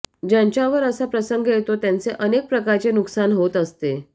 ज्यांच्यावर असा प्रसंग येतो त्यांचे अनेक प्रकारचे नुकसान होत असते